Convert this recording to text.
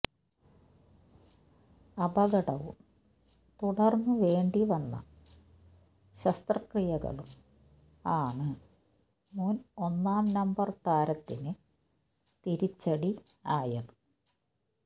അപകടവും തുടർന്നുവേണ്ടി വന്ന ശസ്ത്രക്രിയകളും ആണ് മുൻ ഒന്നാം നമ്പർ താരത്തിന് തിരിച്ചടി ആയത്